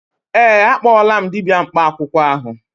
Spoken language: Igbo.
Ee, akpọọla m dibịa mkpa akwụkwọ ahụ.